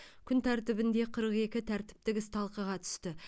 күн тәртібінде қырық екі тәртіптік іс талқыға түсті